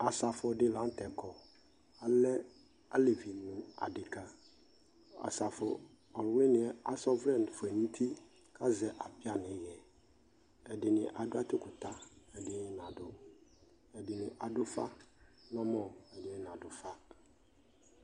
Asafu ɗi la nutɛ kɔ Alɛ alevi nu adeka Asafu ɔlu wɩnɩɛ asa ɔvlɛ foe nuti kazɛ apĩa ni ɩɣɛ Ɛɖɩnɩ aɖu aɖzukuta, ɛɖɛnɩ năɖu, ɛɖɩnɩ aɖu ufa nɛ mɔ ɛɖɩnɩ naɖu ufa